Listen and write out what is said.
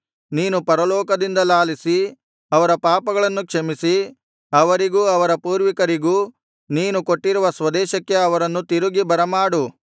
ನೀನು ಪರಲೋಕದಿಂದ ಲಾಲಿಸಿ ಅವರ ಪಾಪಗಳನ್ನು ಕ್ಷಮಿಸಿ ಅವರಿಗೂ ಅವರ ಪೂರ್ವಿಕರಿಗೂ ನೀನು ಕೊಟ್ಟಿರುವ ಸ್ವದೇಶಕ್ಕೆ ಅವರನ್ನು ತಿರುಗಿ ಬರಮಾಡು